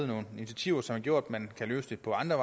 nogle initiativer som har gjort at man kan løse det på andre